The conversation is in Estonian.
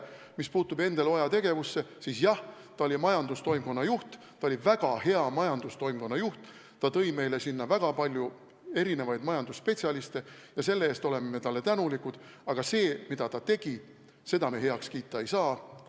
Mis puutub Endel Oja tegevusse, siis jah, ta oli majandustoimkonna juht, ta oli väga hea majandustoimkonna juht, ta tõi meile sinna väga palju erinevaid majandusspetsialiste ja selle eest oleme talle tänulikud, aga seda, mida ta tegi, me heaks kiita ei saa.